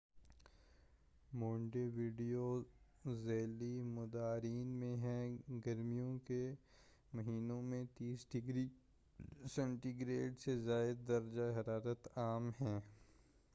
Monte video ذیلی مدارین میں ہے گرمیوں کے مہینوں میں 30 ڈگری سینٹی گریڈ سے زائد درجہءِحرارت عام ہیں